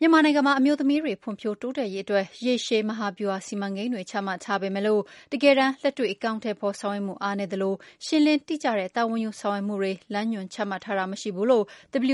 မြန်မာနိုင်ငံမှာ အမျိုးသမီးတွေ ဖွံ့ဖြိုးတိုးတက်ရေးအတွက် ရေရှည် မဟာဗျူဟာ စီမံကိန်းတွေ ချမှတ်ထားပေမဲ့လို့ တကယ်တမ်း လက်တွေ့ အကောင်အထည်ဖော် ဆောင်ရွက်မှု အားနည်းသလို ရှင်းလင်းတိကျတဲ့ တာဝန်ယူဆောင်ရွက်မှုတွေ လမ်းညွန်ချမှတ်ထားတာ မရှိဘူးလို့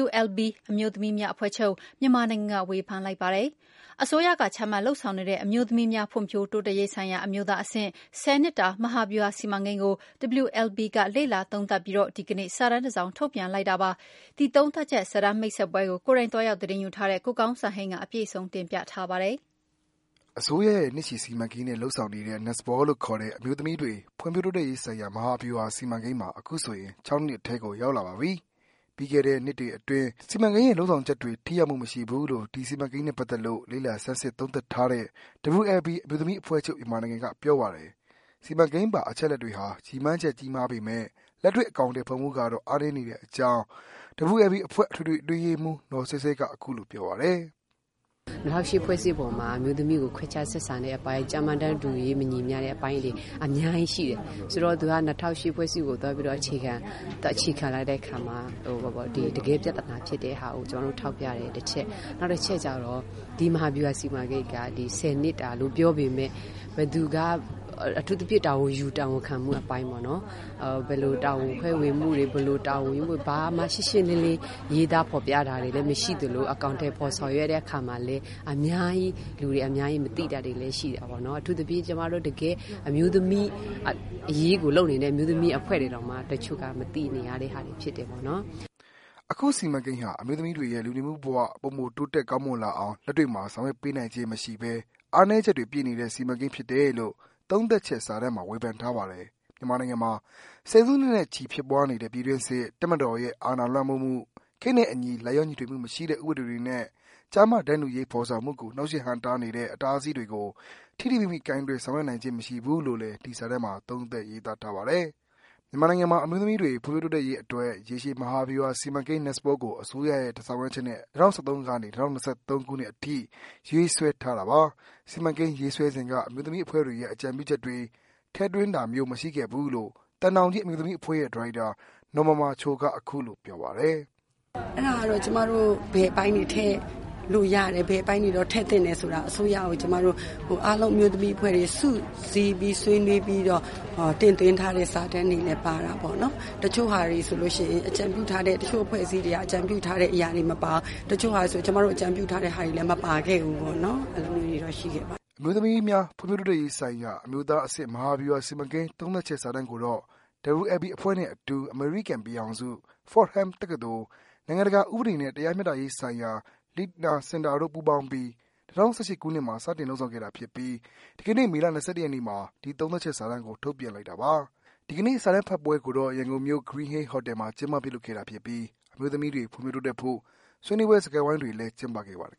WLB အမျိုးသမီးများအဖွဲ့ချုပ် မြန်မာနိုင်ငံက ဝေဖန်လိုက်ပါတယ်။ အစိုးရက ချမှတ်လုပ်ဆောင်နေတဲ့ အမျိုးသမီးများ ဖွံ့ဖြိုးတိုးတက်ရေး ဆိုင်ရာ အမျိုးသားအဆင့် ၁၀ နှစ်တာ မဟာဗျူဟာ စီမံကိန်းကို WLB က လေ့လာသုံးသပ်ပြီး ဒီကနေ့ စာတမ်းတစောင် ထုတ်ပြန်လိုက်တာ ဖြစ်ပါတယ်။ ဒီသုံးသပ်ချက်စာတမ်း မိတ်ဆက်ပွဲကို ကိုယ်တိုင် သွားရောက်သတင်းယူထားတဲ့ ကိုကောင်းစံဟိန်းက အပြည့်စုံ တင်ပြပေးပါမယ်။ အစိုးရရဲ့ နှစ်ရှည်စီမံကိန်းနဲ့ လုပ်ဆောင်နေတဲ့ NSPAW လို့ခေါ်တဲ့ အမျိုးသမီးတွေ ဖွံ့ဖြိုးတိုးတက်ရေးဆိုင်ရာ မဟာဗျူဟာ စီမံကိန်းဟာ အခုဆိုရင် ၆ နှစ်ထဲကို ရောက်လာပါပီ။ ပြီးခဲ့တဲ့ ၆ နှစ်အတွင်း စီမံကိန်းရဲ့ လုပ်ဆောင်ချက်တွေ ထိရောက်မှုမရှိဘူးလို့ ဒီစီမံကိန်းနဲ့ပတ်သက်လို့ လေ့လာစမ်းစစ် သုံးသပ်ထားတဲ့ WLB အမျိုးသမီးများအဖွဲ့ချုပ် မြန်မာနိုင်ငံ ပြောပါတယ်။ စီမံကိန်းပါ အချက်အလက်တွေဟာ ရည်မှန်းချက် ကြီးမားပေမဲ့၊ လက်တွေ့အကောင်အထည်ဖော်မှုကတော့ အားနည်းတဲ့အကြောင်း WLB အဖွဲ့ အထွေထွေအတွင်းရေးမှူး နော်ဆဲဆဲက ပြောပါတယ်။ “၂၀၀၈ဖွဲ့စည်းပုံမှာ အမျိုးသမီးတွေကို ခွခြားဆက်ဆံတဲ့အပိုင်း ကျားမ တန်းတူရေးမညီမျှတဲ့အပိုင်းတွေ အများကြီးရှိတယ်။ ဆိုတော့ သူက ၂၀၀၈ဖွဲ့စည်းပုံကို အခြေခံလိုက်တဲ့ အခါကျတော့ တကယ့် ပြဿနာဖြစ်တဲ့ဟာကို ကျမတို့ ထောက်ပြတယ်။ ဒီမဟာဗျူဟာ စီမံကိန်းက ဘယ်သူကတာဝန်ယူ၊ တာဝန်ခံမှုအပိုင်းမှာ ဘာမှ ရှင်းရှင်းလင်းလင်း ရေးသားဖော်ပြတာတွေ မရှိသလို အကောင်ထည်ဖော် ဆောင်ရွက်တဲ့အခါမှာလည်း လူတွေ အများကြီးမသိတာတွေလည်း ရှိတာပေါ့။” အခုစီမံကိန်းဟာ အမျိုးသမီးတွေရဲ့ လူနေမှုဘဝတွေ ပိုမို တိုးတက်ကောင်းမွန်လာအောင် လက်တွေ့မှာ ဆောင်ရွက်ပေးနိုင်ခြင်း မရှိဘဲ အားနည်းချက်တွေ ပြည့်နေတဲ့ စီမံကိန်းဖြစ်တယ်လို့ သုံးသပ်ချက်စာတမ်းမှာ ဝေဖန်ထားပါတယ်။ မြန်မာနိုင်ငံမှာ ဆယ်စုနှစ်နဲ့ချီဖြစ်ပွားနေတဲ့ ပြည်တွင်းစစ်၊ တပ်မတော်ရဲ့ အာဏာလွှမ်းမိုးမှု၊ ခေတ်နဲ့အညီ လိုက်လျောညီထွေမရှိတဲ့ ဥပဒေတွေနဲ့ ကျားမ တန်းတူရေး ဖော်ဆောင်မှုကို နှောက်ယှက်ဟန့်တားနေတဲ့ အတားအဆီးတွေကို ထိထိမိမိ ကိုင်တွယ် ဆောင်ရွက်နိုင်ခြင်း မရှိဘူးလို့လည်း ဒီစာတမ်းမှာ သုံးသပ် ရေးသားထားပါတယ်။ မြန်မာနိုင်ငံမှာ အမျိုးသမီးတွေ ဖွံ့ဖြိုးတိုးတက်ရေးအတွက် ရေရှည် မဟာဗျူဟာ စီမံကိန်း NSPAW ကို အစိုးရရဲ့ ဆောင်ရွက်ချက်နဲ့ ၂၀၁၃ ကနေ ၂၀၂၃ ခုနှစ်အထိ ရေးဆွဲထားတာပါ။ စီမံကိန်းရေးဆွဲစဉ်က အမျိုးသမီးအဖွဲ့တွေရဲ့ အကြံပြုချက်တွေ ထည့်သွင်းတာမျိုး မရှိခဲ့ဘူးလို့ သံတောင်ကြီး အမျိုးသမီးအဖွဲ့ရဲ့ ဒါရိုက်တာ နော်မာမာချိုက အခုလိုပြောပါတယ်။ “ဘယ်အပိုင်းတွေ ထည့်လို့ရတယ်။ဘယ်အပိုင်းတွေ ထည့်သင့်တယ်ဆိုတာကို ကျမတို့ အမျိုးသမီးတွေ စုပီးဆွေးနွေးပီးတော့ တင်သွင်းထားတဲ့ စာတမ်းတွေလည်း ပါတာပေါ့နော်။ အဖွဲ့အစည်းတွေက အကြံပြုထားတဲ့ အရာတွေမပါဖူး။ တချို့ဟာတွေဆို ကျမတို့ အကြံပြုထားတဲ့ဟာတွေ မပါလာဘူး။” အမျိုးသမီးများ ဖွံ့ဖြိုးတိုးတက်ရေးဆိုင်ရာ အမျိုးသားအဆင့် မဟာဗျူဟာ စီမံကိန်း သုံးသပ်ချက်စာတမ်းကိုတော့ WLB အဖွဲ့နဲ့အတူ အမေရိကန်ပြည်ထောင်စု Fordham တက္ကသိုလ်၊ နိုင်ငံတကာဥပဒေနဲ့ တရားမျှတရေးဆိုင်ရာ Leitnar Center တို့ ပူးပေါင်းပြီး ၂၀၁၈ ခုနှစ်မှာ စတင် လုပ်ဆောင်ခဲ့တာဖြစ်ပြီး ဒီကနေ့ မေလ ၂၁ ရက်နေ့မှာ ဒီသုံးသပ်ချက်စာတမ်းကို ထုတ်ပြန်လိုက်တာပါ။ ဒီကနေ့ စာတမ်းဖတ်ပွဲကိုတော့ ရန်ကုန်မြို့က Green Hill ဟိုတယ်မှာ ကျင်းပပြုလုပ်ခဲ့တာဖြစ်ပြီး အမျိုးသမီးတွေ ဖွံ့ဖြိုးတိုးတက်ဖို့ ဆွေးနွေးပွဲ စကားဝိုင်းတွေလည်း ကျင်းပခဲ့ပါတယ်